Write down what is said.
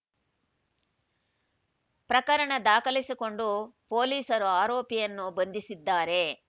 ಪ್ರಕರಣ ದಾಖಲಿಸಿಕೊಂಡು ಪೊಲೀಸರು ಆರೋಪಿಯನ್ನು ಬಂಧಿಸಿದ್ದಾರೆ